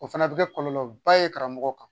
O fana bɛ kɛ kɔlɔlɔba ye karamɔgɔ kan.